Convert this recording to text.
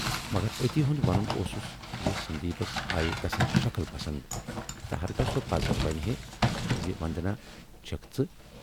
مگر اَتی ہُند ونُن اوسُس زِ سندیپس آیہِ تسٕنز شکٕل پسند تہٕ ہرگاہ سۅ پَزر ونہِ ہے زِ وندنا چھَکھ ژٕ۔